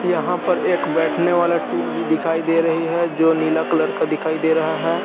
यहां पर एक बैठने वाला टूल भी दिखाई दे रही है जो नीला कलर का दिखाई दे रहा है।